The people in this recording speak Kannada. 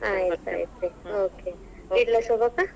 ಆಯ್ತ್, ಆಯ್ತ್ okay ಇಡಲಾ ಶೋಭಕ್ಕ?